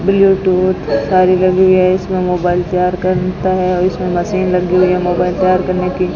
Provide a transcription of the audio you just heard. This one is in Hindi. ब्लूटूथ सारी लगी है इसमें मोबाइल तैयार करता है और इसमें मशीन लगी हुई है मोबाइल तैयार करने की।